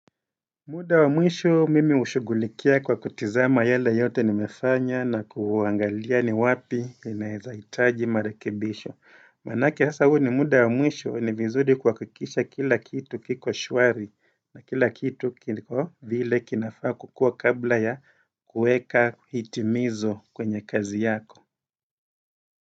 Muda wa mwisho mimi hushugulikia kwa kutizama yale yote nimefanya na kuangalia ni wapi inaezaitaji marekebisho Manake hasa huu ni muda wa mwisho ni vizuri kuhakikisha kila kitu kiko shwari na kila kitu kiko vile kinafaa kukua kabla ya kueka hitimizo kwenye kazi yako.